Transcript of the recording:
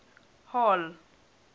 hall